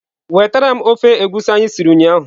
Wetara m ofe egusi anyị siri ụnyahụ!.